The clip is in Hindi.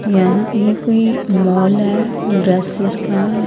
यहां ये कोई मॉल है ड्रेसेस का --